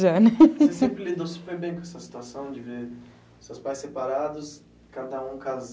Você sempre lidou super bem com essa situação de ver seus pais separados, cada um casan